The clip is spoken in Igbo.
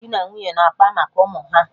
Dị na nwunye na-akpa maka ụmụ ha